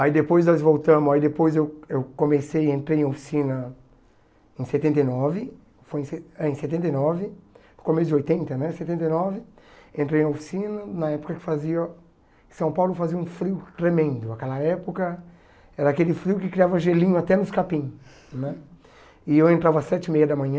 Aí depois nós voltamos, aí depois eu eu comecei, entrei em oficina em setenta e nove, foi em se ah em setenta e nove, começo de oitenta, né, setenta e nove, entrei em oficina na época que fazia, São Paulo fazia um frio tremendo, aquela época era aquele frio que criava gelinho até nos capim, né, e eu entrava às sete e meia da manhã,